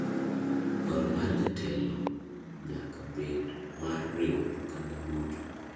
Dwaro mar jatelo nyaka bed mar riwo oganda duto.